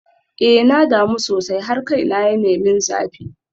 Eh na damu sosai har kaina yana min zafi.